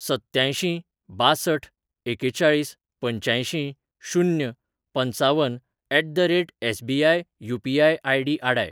सत्त्यांयशीं बांसठ एकेचाळीस पंच्यांयशीं शून्य पंचावन at the rate SBI UPI. ID. आडाय.